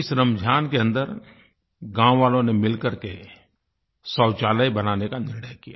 इस रमज़ान के अन्दर गाँववालों ने मिलकर के शौचालय बनाने का निर्णय लिया